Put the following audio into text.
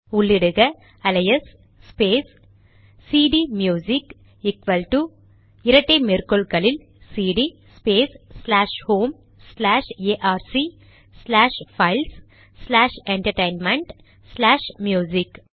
உள்ளிடுக alias space CD music equal to இரட்டை மேற்கோள்களில் CD space slash home slash எஆர்சி ச்லாஷ் files slash entertainment slash music